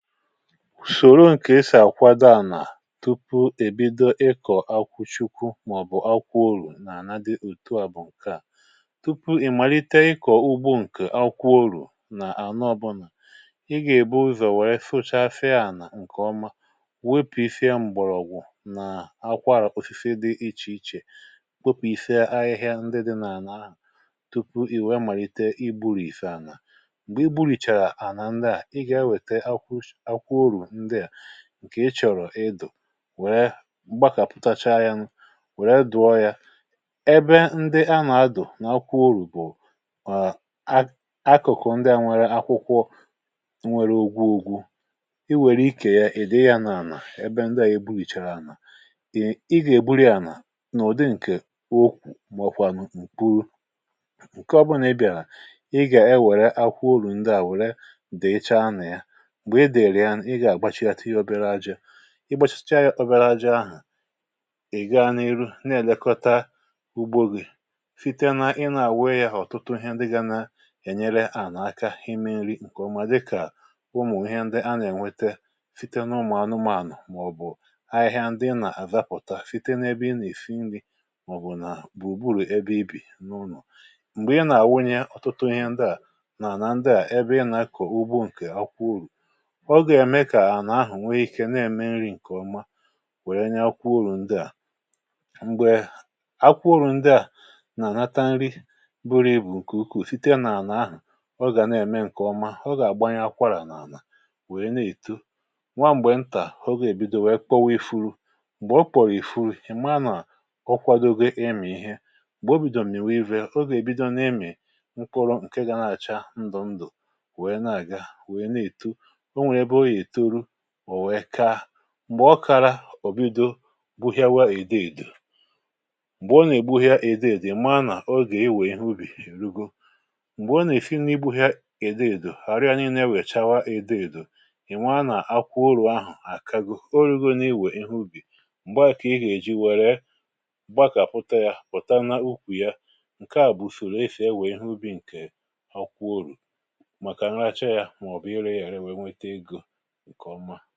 Usòro ǹkè esi akwado àlà tupu èbido ịkọ̀ akwụchukwu mà ọ̀bụ̀ akwụọ orù n’àna dị òtu a bụ̀ ǹke à: tupu ị màlite ikọ̀ ugbo ǹkè akwụọ orù n’àla ọbụ̀là, ị gà-èbu ụzọ̀ wèe sụchasịa àlà ǹkè ọma, wepụsịa mgbọ̀rọ̀gwụ̀ nà akwaàra osisi dị ichè ichè, wepụisịa ahịhịa ndị dị nà-àla aha tupu ì wee màlite igburisi ala. Mgbè i gbu̇rìchàrà àlà ndị ị gà ewete akwụkwọ os akwụkwọ oru ndị a ǹkè ị chọ̀rọ̀ idụ wèrè mgbakàpụtacha ya nụ wèrè dụọ ya. Ebe ndị a nà-adọ̀ n’akwụ orù bụ̀ à a akụ̀kụ̀ ndị à nwere akwụkwọ nwere ògwu̇ ògwu̇, i wère ikè ya ì dịị ya n’àlà ebe ndị à ègburìchara àlà. Ị gà-ègburị ala n’ụ̀dị ǹkè okwù mọkwànụ nkpuru. Nke ọbụnà ị bịàlà, ị gà-ewère akwụ orù ndị à wèrè dịịcha nà ya, mgbe ịdịra ya nụ, ị ga gbachịata obere aja, ịgbachịchaa ya obere aja ahụ, ị gaa n’ihu na-èlekọta ugbo gị site na ị na-àwịị ya họ̀tụtụ ihe ndị ga n’enyere àlà aka hime nri ǹkè ọma dịkà ụmụ̀ ihe ndị a nà-ènwete site n’ụmụ̀ anụmȧnụ̀ mà-ọ̀bụ̀ ahịhịa ndị ị nà-àzapụta site n’ebe ị nà-èsi nri mà-ọ̀bụ̀ nà bùrùgburu ebe ị bì n’ụnọ̀. Mgbè ị nà-àwunye ọ̀tụtụ ihe ndị à nà àla ndị à ebe ị nà-akọ̀ ugbo ǹkè akwụ oru, ọga eme ka ala ahụ̀ nwiike n’eme nri ǹkè ọma wère nyakwụ olu ndị à. Mgbè akwụ oru ndị à nà-ànata nri buru ibù ǹkè ukwù sitė nà-àlà ahụ̀, ọ gà na-ème ǹkè ọma, ọ gà-àgbanye akwarà n’ànà wèe na-èto. Nwa m̀gbè ntà ogè èbido wèe kpọwa ifuru. Mgbè ọ kpọ̀rọ̀ ifuru ị̀ maa nà ọkwadogo ịmị ihe. Mgbè obidò mịwa ihe, oga èbido n’ịmị mkpụrụ ǹke ga na-àcha ndụ̀ ndụ̀ wee n’aga, wee n’eto. Onwere ebe ọga etoru o wee kaa. Mgbè ọkàra, ọ̀ bido gbuhịawa èdeèdò, m̀gbè ọ nà-ègbuhịa èdeèdò ị̀ maa nà ogè ewè ihe ubì erugo. Mgbè ọ n’esi n'igbuhịa èdeèdò arụ ya nille wèe chawa èdeèdò, ị̀ maa nà-àkwụ orù ahụ̀ àkago, orugo n’iwè ihe ubì. Mgba kà ị ga eji wère gbakàpụ̀ta yȧ pụ̀ta na ukwù ya ǹke à bụ̀ ùsoro esi ewe ihe ubì ǹkè akwụ̀ oru̇ màkà ǹracha yȧ mà ọ̀ bụ̀ ire yà ere wèe nwete egȯ ǹkọ̀ ọ̀mà